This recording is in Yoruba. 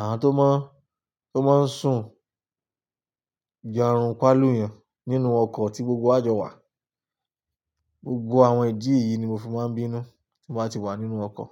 àwọn tó máa ń, tó máa ń sun jarunpà lú yàn nínú ọkọ̀ tí gbogbo wa jọ wà. Gbogbo àwọn ìdí yìí ni mo fi máa ń bínú tí mo bá ti wà nínú ọkọ̀